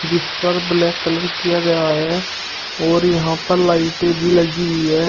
जिस पर black colour किया गया है और यहां पर लाइटें भी लगी हुई है।